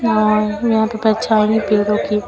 यहां पे परछाई है पेड़ों की।